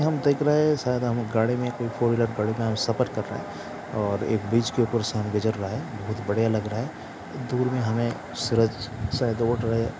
हम देख रहे है शायद हम गाड़ी में कोई फोर व्हीलर गाड़ी में हम सफर कर रहे हैं और एक ब्रिज के ऊपर से हम गुजर रहे है बहुत बढ़िया लग रहा है दूर में हमें सूरज शायद दोड़ रहे है।